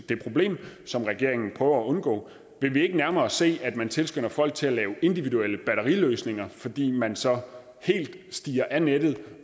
det problem som regeringen prøver at undgå vil vi ikke nærmere se at man tilskynder folk til at lave individuelle batteriløsninger fordi man så helt stiger af nettet